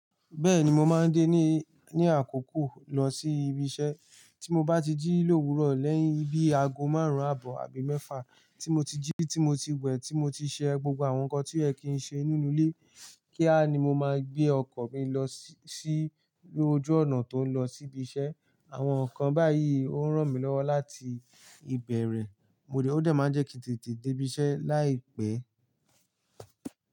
Bẹ́ẹ̀ni, mo máa ń dé ní, ní àkókò lọ sí ibi iṣẹ́. Tí mo bá ti jí lówuro lẹ́yìn ibi aago márùn-ún àbọ̀ àbí mẹ́fà, tí mo ti jí, tí mo ti wẹ̀, tí mo ti ṣe gbogbo àwọn nǹkan tí o ye kìí n ṣe nínú ilé, kía ni mo máa gbé ọkọ̀ fi lọ sí, sí lójú ọ̀nà tó ń lọ sí ibi iṣẹ́. Àwọn nǹkan báyìí ó ń ràn mí lọ́wọ́ láti ìbẹ̀rẹ̀. Mo dé, ó dè máa ń je kí ń tètè dé ibi ise láì pè.